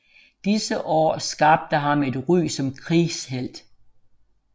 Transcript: Disse år skabte ham et ry som krigshelt